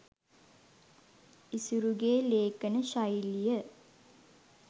ඉසුරුගෙ ලේඛන ශෛලිය